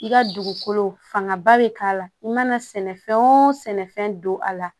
I ka dugukolo fanga ba bɛ k'a la i mana sɛnɛ fɛn o fɛn sɛnɛfɛn don a la